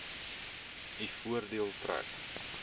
u voordeel trek